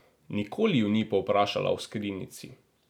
Nikoli ju ni povprašala o skrinjici.